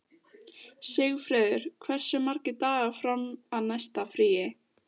Sigfreður, hversu margir dagar fram að næsta fríi?